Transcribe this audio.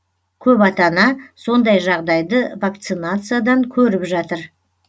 көп ата ана сондай жағдайды вакцинациядан көріп жатыр